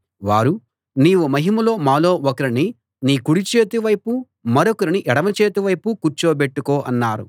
వారు నీవు మహిమలో మాలో ఒకరిని నీ కుడిచేతి వైపు మరొకరిని ఎడమచేతి వైపు కూర్చోబెట్టుకో అన్నారు